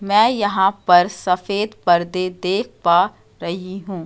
मैं यहां पर सफेद पर्दे देख पा रही हूं।